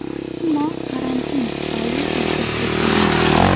Ammo karantin tufayli uyga qaytganmiz.